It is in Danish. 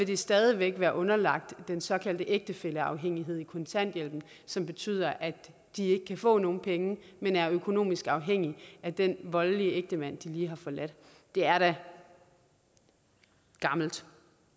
de stadig væk er underlagt den såkaldte ægtefælleafhængighed i kontanthjælpen som betyder at de ikke kan få nogen penge men er økonomisk afhængige af den voldelige ægtemand de lige har forladt det er da gammelt